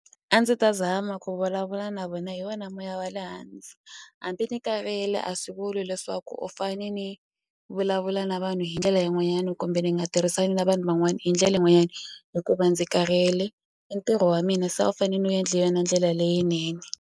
A ndzi ta zama ku vulavula na vona hi wona moya wa le hansi hambi ni kavele a swi vuli leswaku u fane ni vulavula na vanhu hi ndlela yin'wanyana kumbe ni nga tirhisani na vanhu van'wani hi ndlela yin'wanyani hikuva ndzi karhele i ntirho wa mina se a wu fane ni wu endle hi yona ndlela leyinene.